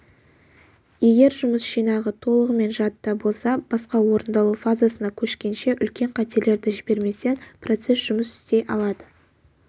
егер жұмыс жинағы толығымен жадыда болса басқа орындалу фазасына көшкенше үлкен қателерді жіберместен процесс жұмыс істей алады